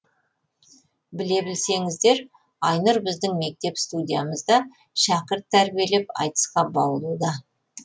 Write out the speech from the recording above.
біле білсеңіздер айнұр біздің мектеп студиямызда шәкірт тәрбиелеп айтысқа баулуда